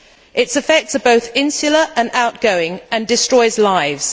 Its effects are both insular and outgoing and destroy lives.